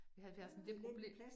Vi havde faktisk en del problem